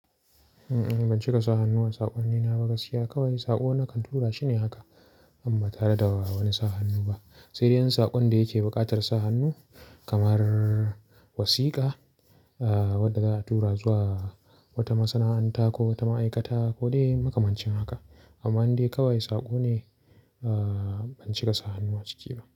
Eh, ban cika sa hannu a saƙonnina ba gaskiya. Kawai saƙo na kantura shine haka, amma tare da wani sa hannu ba. Sai dai an saƙon da yake buƙatar sa hannu kamar wasiƙa wadda za a tura zuwa wata masana'anta ko wata ma'aikata ko dai makamancin haka. Amma in dai kawai saƙo ne, ban cika sa hannu a ciki ba.